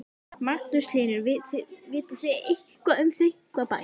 Magnús Hlynur: Vitið þið eitthvað um Þykkvabæ?